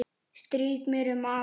Strýk mér um magann.